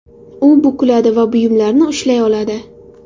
U bukiladi va buyumlarni ushlay oladi.